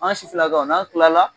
N b'a si fila kɛ n'an tila la.